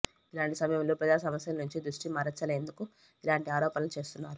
ఇలాంటి సమయంలో ప్రజాసమస్యల నుంచి దృష్టి మరల్చేందుకే ఇలాంటి ఆరోపణలు చేస్తున్నారు